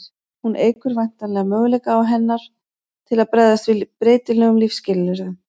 hún eykur væntanlega möguleika hennar til að bregðast við breytilegum lífsskilyrðum